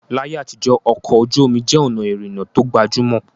Láyé àtijọ́, ọkọ̀ ojú omi jẹ́ ọ̀nà ìrìnnà tó gbajúmọ̀